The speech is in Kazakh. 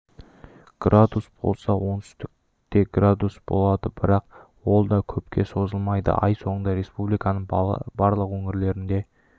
градус болса оңтүстікте градус болады бірақ ол да көпке созылмайды ай соңында республиканың барлық өңірлерінде